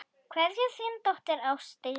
Kveðja, þín dóttir, Ásdís.